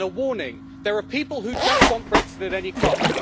And a warning there are people who just want Brexit at any cost.